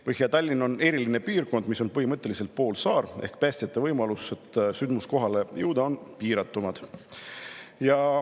Põhja-Tallinn on eriline piirkond, see on põhimõtteliselt poolsaar ehk siis päästjate võimalused sündmuskohale jõuda on piiratumad.